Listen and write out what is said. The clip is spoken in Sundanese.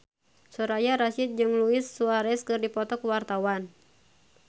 Soraya Rasyid jeung Luis Suarez keur dipoto ku wartawan